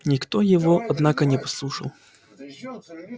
никто его однако не слушал